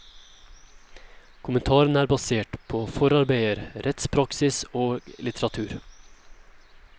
Kommentarene er basert på forarbeider, rettspraksis og litteratur.